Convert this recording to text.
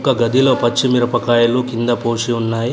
ఒక గదిలో పచ్చి మిరపకాయలు కింద పోసి ఉన్నాయి.